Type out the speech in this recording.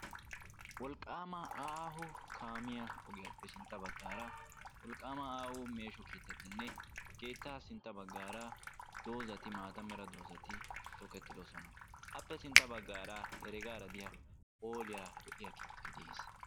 Wolqqaama aaho kaamiya ogiyappe sintta baggaara wolqqaama aaho meeshsho keettatinne keettaa sintta baggaara doozati maata mera doozati tokkettidosona. Appe sintta baggara heregaara de'iya phooliya lo'iya keettay de'ees.